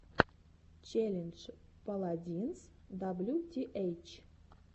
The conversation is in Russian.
челлендж паладинс даблютиэйч